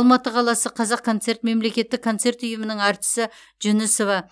алматы қаласы қазақконцерт мемлекеттік концерт ұйымының әртісі жүнісова